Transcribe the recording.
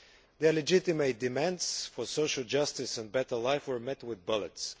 Their legitimate demands for social justice and better lives were met with bullets.